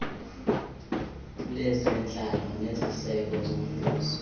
lezentlalo leziseko zombuso